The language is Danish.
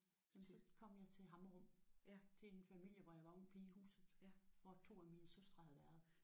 Jamen så kom jeg til Hammerum til en familie hvor jeg var ung pige i huset hvor to af mine søstre havde været